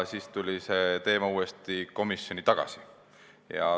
Siis tuli see teema uuesti komisjoni tagasi.